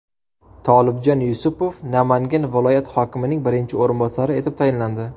Tolibjon Yusupov Namangan viloyat hokimining birinchi o‘rinbosari etib tayinlandi.